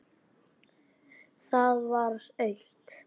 Það var autt.